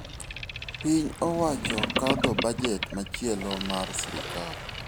Piny owacho kadho bajet machielo mar sirkal.